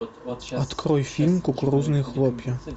открой фильм кукурузные хлопья